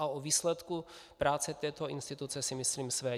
A o výsledku práce této instituce si myslím své.